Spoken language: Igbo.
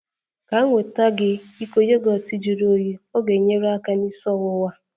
Ka m nweta gị iko yogọt juru oyii, ọ ga-enyere aka na isi ọwụwa